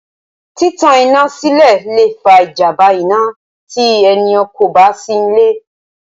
Títan iná sílẹ̀ lè fa ìjàmbá iná tí ènìyàn kò bá sí níbẹ̀